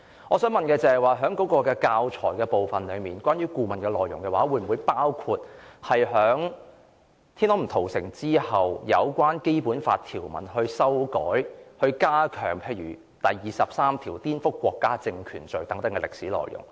我想問的是，教材部分關於顧問篩選後的內容，會否包括天安門"屠城"之後，有關《基本法》條文的修改、加強例如第二十三條顛覆國家政權罪等歷史內容？